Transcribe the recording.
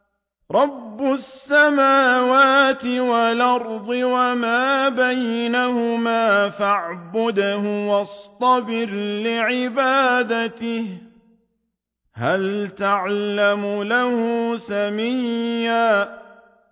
رَّبُّ السَّمَاوَاتِ وَالْأَرْضِ وَمَا بَيْنَهُمَا فَاعْبُدْهُ وَاصْطَبِرْ لِعِبَادَتِهِ ۚ هَلْ تَعْلَمُ لَهُ سَمِيًّا